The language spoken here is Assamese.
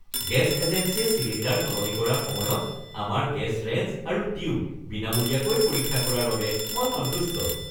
গেছ এজেন্সীয়ে চিলিণ্ডাৰ সলনি কৰাৰ সময়ত আমাৰ গেছ ৰেঞ্জ আৰু টিউব বিনামূলীয়াকৈ পৰীক্ষা কৰাৰ বাবে মই সন্তুষ্ট।